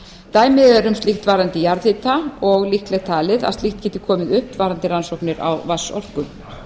dæmi eru um slíkt varðandi jarðhita og líklegt talið að slíkt geti komið upp varðandi rannsóknir á vatnsorku